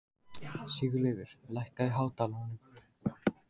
Sigurleifur, lækkaðu í hátalaranum.